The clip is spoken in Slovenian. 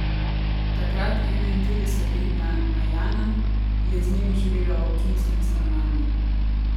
Takrat enaintridesetletna Najana je z njimi živela v občinskem stanovanju.